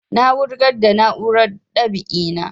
Na wugar da na'urar dab'i na